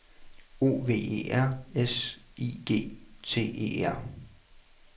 O V E R S I G T E R